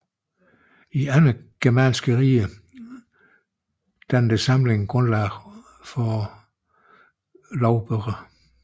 I andre germanske riger dannede samlingen grundlag for lovbøger